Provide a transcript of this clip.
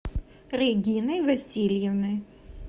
региной васильевной